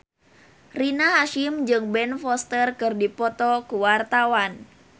Rina Hasyim jeung Ben Foster keur dipoto ku wartawan